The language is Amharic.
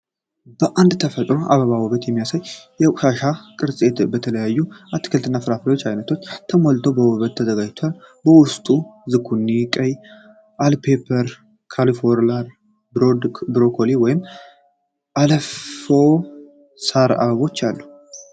አንድ የተፈጥሮ አበባ ውበት የሚያሳየ የቆሻሻ ቅርጽ በተለያዩ የአትክልት እና የፍራፍሬ አይነቶች ተሞልቷ በውበት ተዘጋጅቷል። ውስጡ ዝኩኒ፣ ቀይ በልፔፕር፣ ካልፎላውር፣ ብሮኮሊ፣ ወይን እና የለፋ ሣር አበባዎች አሉ።